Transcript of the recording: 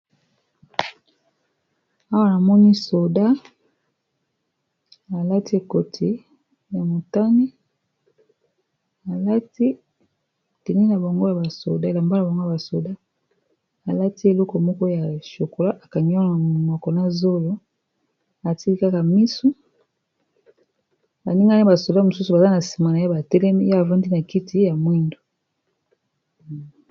Awa namoni soda alati ekoti ya motane, alati tenu na bango ya ba soda, alati ekoti moko ya chokola, akangi eloko moko na munoko pe na zolo atiki kaka misu, baninga naye ba soda mosusu baza na sima na ya batelemi, ye afandi na kiti ya mwindu.